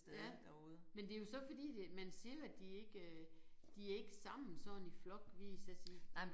Ja men det jo så fordi det man siger at de ikke øh de er ikke sammen sådan i flok ville jeg så sige